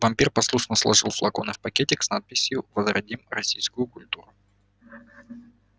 вампир послушно сложил флаконы в пакетик с надписью возродим российскую культуру